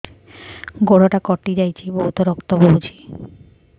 ଗୋଡ଼ଟା କଟି ଯାଇଛି ବହୁତ ରକ୍ତ ବହୁଛି